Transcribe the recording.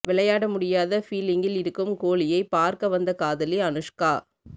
விளையாட முடியாத ஃபீலிங்கில் இருக்கும் கோஹ்லியை பார்க்க வந்த காதலி அனுஷ்கா